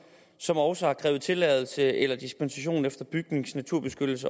som også har krævet tilladelse eller dispensation efter bygnings naturbeskyttelses